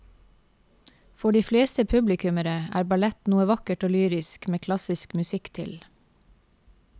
For de fleste publikummere er ballett noe vakkert og lyrisk med klassisk musikk til.